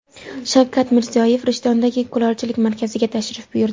Shavkat Mirziyoyev Rishtondagi kulolchilik markaziga tashrif buyurdi.